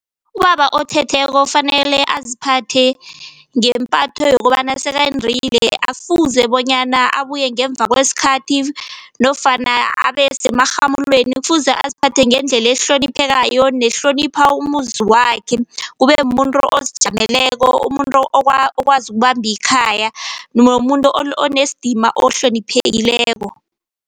Ubaba othetheko fanele aziphathe ngeempatho yokobana sekendile, akukafuze bonyana abuye ngemva kweskhathi nofana abe semarhamulweni. Kufuze aziphathe ngendlela ehloniphekayo nehlonipha umuzi wakhe. Kube muntu ozijameleko, umuntu okwazi ukubambikhaya nomuntu onesdima ohloniphekileko.